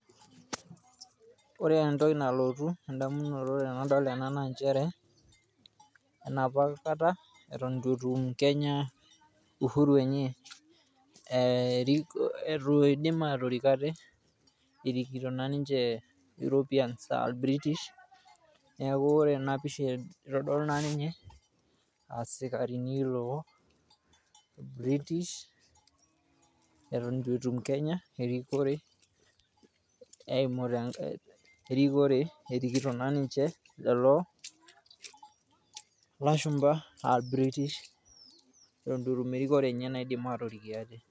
Ore entoki nalotu endamunnoto naa nchere enapa kata Eton itu etum Kenya uhuru enye. Ee eitu eidim atorik ate ,erikito naa nche Europeans aa British . Neaku ore ena pisha itodolu naa ninye aa sikarini loo r British Eton itu etum Kenya erikore.